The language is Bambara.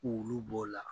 K'olu b'o la